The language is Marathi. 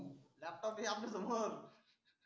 laptop आहे आपल्या सोमर